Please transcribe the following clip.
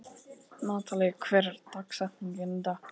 Natalí, hver er dagsetningin í dag?